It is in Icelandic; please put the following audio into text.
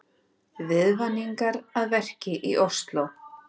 Viðvaningar að verki í Ósló